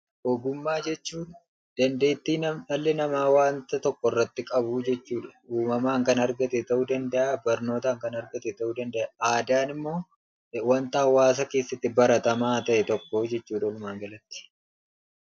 Ogummaa jechuun dandeetti dhalli namaa wanta tokko irratti qabu jechuudha. Uumamaan kan argate ta'uu danda'aa; barnootaan kan argate ta'uu danda'a. Aadaan ammoo wanta hawaasa keessatti baratamaa ta'e tokko jechuudha walumaagalatti.